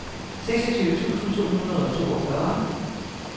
seksogtyve tusind to hundrede og toogfyrre